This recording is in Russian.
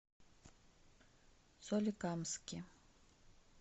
соликамске